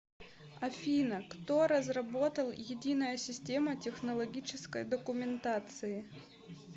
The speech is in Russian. афина кто разработал единая система технологической документации